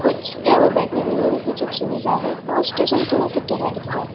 बैठने के लिए भी कुछ सुविधा है और स्टेशन थोड़ा सा टेढ़ा दिख रहा है।